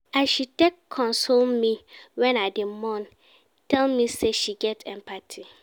As she take console me wen I dey mourn tell me sey she get empathy.